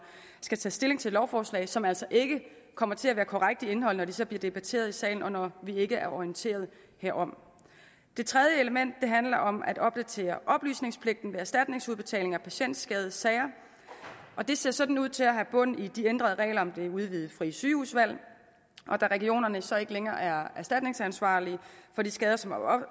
skal tage stilling til et lovforslag som altså ikke kommer til at være korrekt i indholdet når det så bliver debatteret i salen og når vi ikke er orienteret herom det tredje element handler om at opdatere oplysningspligten ved erstatningsudbetalinger af patientskadesager det ser sådan ud til at have bund i de ændrede regler om det udvidede frie sygehusvalg og da regionerne så ikke længere er erstatningsansvarlige for de skader som